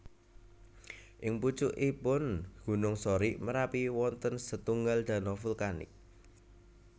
Ing pucukipun gunung Sorik Marapi wonten setunggal dano vulkanik